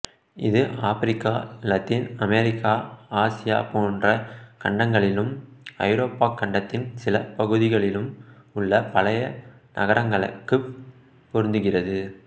இது Africa Latin America Asia போன்ற கண்டங்களிலும் ஐரோப்பாக் கண்டத்தின் சில பகுதிகளிலும் உள்ள பழைய நகரங்களுக்குப் பொருந்துகிறது